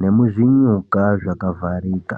nemuzvinyuka zvakavharika.